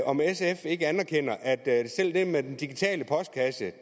om sf ikke anerkender at det med den digitale postkasse